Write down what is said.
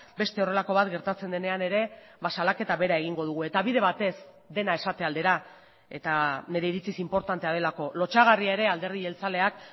beste horrelako bat gertatzen denean ere salaketa bera egingo dugu eta bide batez dena esate aldera eta nire iritziz inportantea delako lotsagarria ere alderdi jeltzaleak